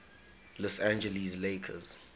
los angeles lakers